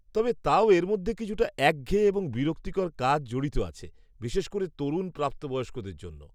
তবে তাও এর মধ্যে কিছুটা একঘেয়ে এবং বিরক্তিকর কাজ জড়িত আছে, বিশেষ করে তরুণ প্রাপ্তবয়স্কদের জন্য।